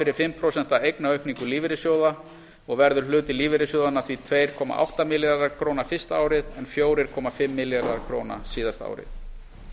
fyrir fimm prósent eignaaukningu lífeyrissjóða og verður hluti lífeyrissjóðanna tvö komma átta milljarðar króna fyrsta árið en fjóra komma fimm milljarðar króna síðasta árið